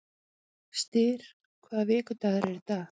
Styr, hvaða vikudagur er í dag?